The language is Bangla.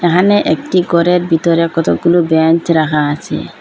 এহানে একটি গরের বিতরে কতকগুলো বেঞ্চ রাখা আছে।